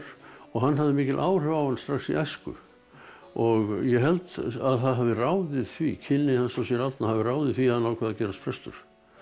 og hann hafði mikil áhrif á hann strax í æsku og ég held að það hafi ráðið því kynni hans af séra Árna hafi ráðið því að hann ákvað að gerast prestur